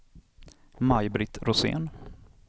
Maj-Britt Rosén